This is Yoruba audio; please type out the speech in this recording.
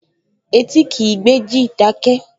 Etí kìí gbéjì, dákẹ́!